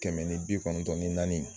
Kɛmɛ ni bi kɔnɔntɔn ni naani.